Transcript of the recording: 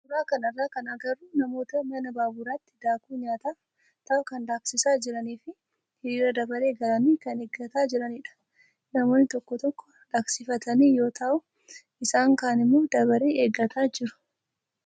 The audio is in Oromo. Suuraa kanarraa kan agarru namoota mana baaburaatti daakuu nyaataaf ta'u kan daaksisaa jiranii fi hiriira dabaree galanii kan eeggataa jiranidha. Namoonni tokko tokko daaksifatanii yoo ta'u, isaan kaan immoo darabee eeggataa jiru.